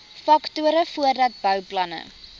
faktore voordat bouplanne